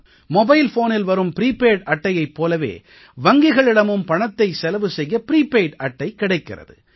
mobile போனில் வரும் prepaid அட்டையைப் போலவே வங்கிகளிடமும் பணத்தை செலவு செய்ய ப்ரீபெய்ட் அட்டை கிடைக்கிறது